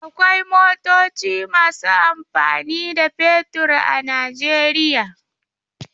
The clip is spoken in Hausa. Akwai motoci masu amfani da fetur a Najeriya.